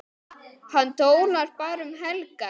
Hann dólar bara um helgar.